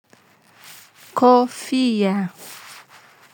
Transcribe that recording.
Kofia.